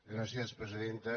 gràcies presidenta